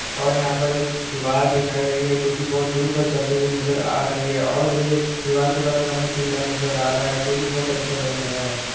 और यहां पर एक दीवार दिखाई रही है जो की बहुत दूर तक जाती हुई नज़र आ रही है और ये दीवार का कलर हमें पीला नज़र आ रहा है जो की बहुत अच्छा लग रहा है।